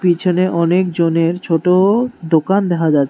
পিছনে অনেকজনের ছোট ডোকান দেখা যাচ --